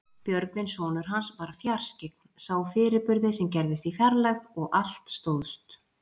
Björgvin sonur hans var fjarskyggn, sá fyrirburði sem gerðust í fjarlægð og allt stóðst.